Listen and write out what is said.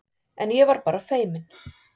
En ég var bara feiminn.